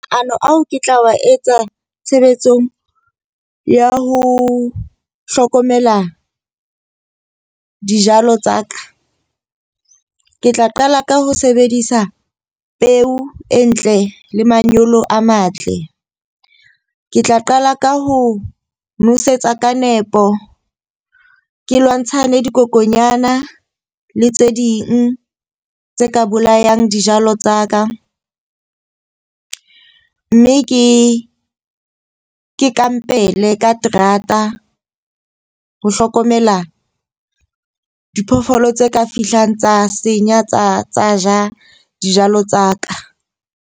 Ao ke tla wa etsa tshebetsong ya ho hlokomela dijalo tsa ka. Ke tla qala ka ho sebedisa peo e ntle le manyolo a matle. Ke tla qala ka ho nosetsa ka nepo, ke lwantshane, dikokonyana le tse ding tse ka bolayang dijalo tsa ka. Mme ke ke kampele ka terata ho hlokomela diphoofolo tse ka fihlang tsa senya tsa ja dijalo tsa ka.